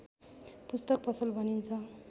पुस्तक पसल भनिन्छ